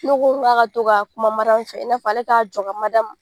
Ne ko n k'a ka to ka kuma Mariyamu fɛ i n'a fɔ ale k'a jɔ ka Mariyamu